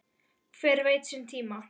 Hver veit sinn tíma?